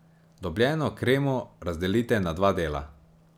Dobljeno kremo razdelite na dva dela.